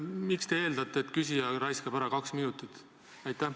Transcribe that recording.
Miks te eeldate, et küsija raiskab ära kaks minutit?